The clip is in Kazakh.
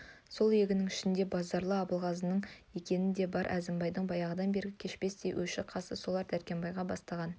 сол егіннің ішінде базаралы абылғазының екені де бар әзімбайдың баяғыдан бергі кешпестей өші-қасы солар дәркембай бастаған